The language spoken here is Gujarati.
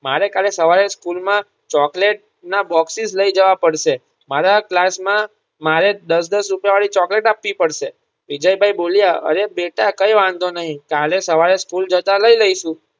મારે કાલે સવારે સ્કૂલ માં ચોકલેટ ના boxes લઈ જવા પડશે. મારા ક્લાસમાં મારે દસ દસ રૂપિયા વળી ચોકલેટ આપવી પડશે. વિજયભાઇ બોલ્યા અરે બેટા કઈ વાંધો નહીં કાલે સવારે સ્કૂલ જતાં લઈ લઈશું.